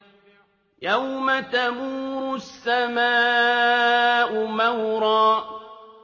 يَوْمَ تَمُورُ السَّمَاءُ مَوْرًا